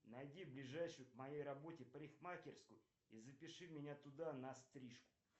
найди ближайшую к моей работе парикмахерскую и запиши меня туда на стрижку